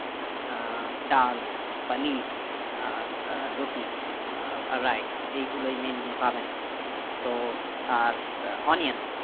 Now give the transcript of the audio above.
আহ ডাল পানির আর সে রুটি আহ rice এইগুলোই meanly পাবেন তো আর আহ onion